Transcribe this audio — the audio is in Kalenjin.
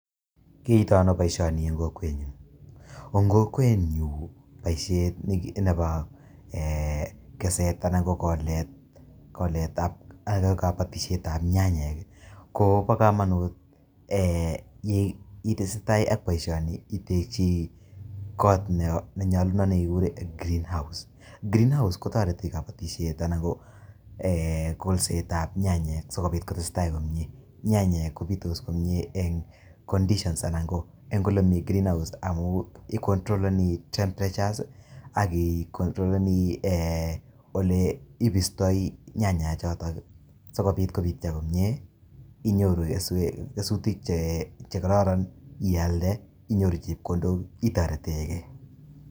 Kiyaitaa ano boisioni en kokwet nyuun, en kokwet nyuun boisiet nebo keseet anan ko koleet ak kabatisyeet ama nyanyek ii ko bo kamanut ye ii tesetai ak boisioni itechei koot ne nyalunaat en [green house] kotaretii eng kabatisyeet kolset ab nyanyek sikobiit kotesetai komyei, nyanyek kobitos eng [conditions] anan ko ole mamii Green house ii controlenii temperatures ak ii controlenii ole kimistaa nyanyek chotoon sikobiit kobitya komyei inyoruu kesutiik iyalde inyoruu chepkondook itareten gei.